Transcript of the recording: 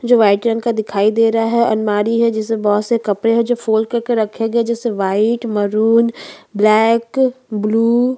जो व्हाइट रंग का दिखाई दे रहा है अलमारी है जिसमे बहोत से कपड़े है जो फोल्ड करके रखे गए जैसे व्हाइट मरून ब्लैक ब्लू --